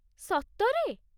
ସତରେ!